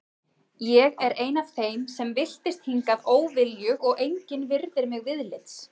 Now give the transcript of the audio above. Ég er ein af þeim sem villtist hingað óviljug og engin virðir mig viðlits.